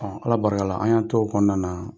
ala barika la an y' an t'o kɔnɔna na.